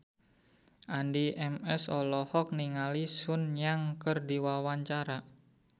Addie MS olohok ningali Sun Yang keur diwawancara